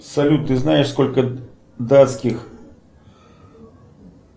салют ты знаешь сколько датских